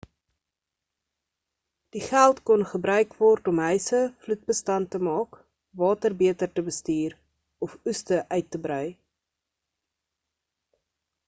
die geld kon gebruik word om huise vloed-bestand te maak water beter te bestuur of oeste uit te brei